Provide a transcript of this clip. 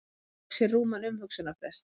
Hann tók sér rúman umhugsunarfrest.